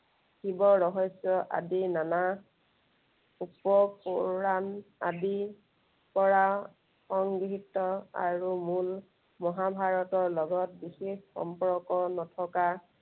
শিৱ ৰহস্য় আদি নানা উপ পূৰাণ আদি, পৰা সংগৃহিত আৰু মূল মহা ভাৰতৰ লগত বিশেষ সম্পৰ্ক নথকা